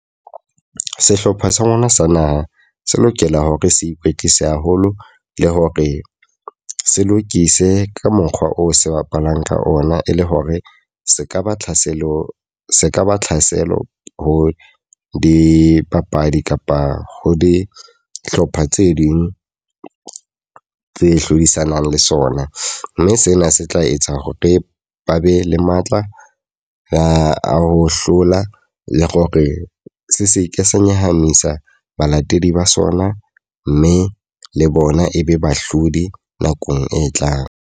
Sehlopha sa rona sa naha se lokela hore se ikwetlise haholo. Le hore se lokiswe ka mokgwa oo se bapalang ka ona. E le hore se ka ba tlhaselo, se kaba tlhaselo ho dipapadi kapa ho dihlopha tse ding tse hlodisanang le sona. Mme sena se tla etsa hore ba be le matla a ho hlola le hore se seke sa nyahamisa balatedi ba sona. Mme le bona e be bahlodi nakong e tlang.